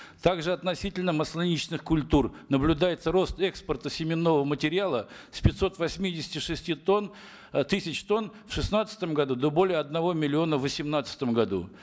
также относительно масляничных культур наблюдается рост экспорта семенного материала с пятьсот восьмидесяти шести тонн э тысяч тонн в шестнадцатом году до более одного миллиона в восемнадцатом году